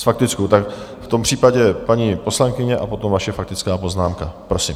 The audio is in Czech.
S faktickou, tak v tom případě paní poslankyně a potom vaše faktická poznámka, prosím.